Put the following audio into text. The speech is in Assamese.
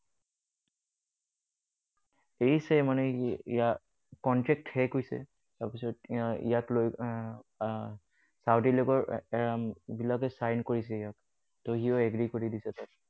এৰিছে মানে হেৰি ইয়াত contract শেষ হৈছে। তাৰ পিছত ইয়াত লৈ ছৌদি league ৰ বিলাকে sign কৰিছে ইয়াক। ত সিও agree কৰি দিছে তাতে।